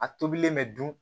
A tobilen mɛ dun